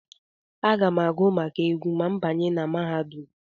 Aga m agụ maka egwu ma m banye na mahadum.